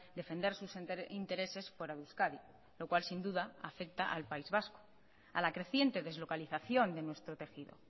defender sus intereses fuera de euskadi lo cual sin duda afecta al país vasco a la creciente deslocalización de nuestro tejido